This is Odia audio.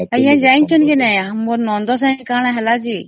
ମୋ ନଣନ୍ଦ ସହ କଣ ହେଲା କହିବି କି